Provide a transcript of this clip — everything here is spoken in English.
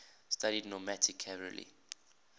studied nomadic cavalry